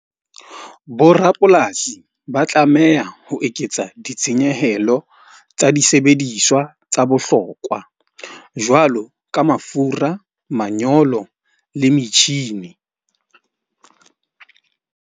Borapolasi ba tlameha ho eketsa ditshenyehelo tsa disebediswa tsa bohlokwa. Jwalo ka mafura, manyolo, le metjhini.